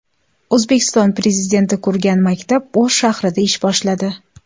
O‘zbekiston Prezidenti qurgan maktab O‘sh shahrida ish boshladi .